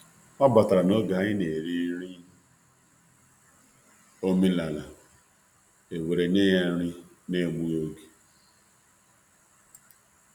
Ọ batara n’oge anyị na eri nri omenala, e were nye ya nri n’egbughị oge.